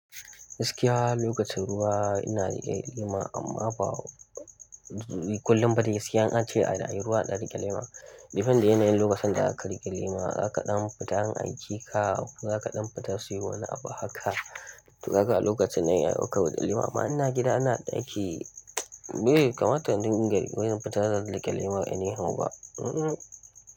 Gaskiya lokacin ruwa ina riƙe lema amma ba kullum ba dai gaskiya, in an ce anayin ruwa in ɗan riƙe lema. Depend da yanayin lokacin da zaka riƙe lema, za ka ɗan fita an aike ka, ko za ka ɗan fita siyo wani abu haka. To ka ga a lokacin nan zan iya ɗaukan lema. Amma ina gida ina ɗaki, be kamata indunga wai zan fita zan riƙe lema any how ba, ihm ihm.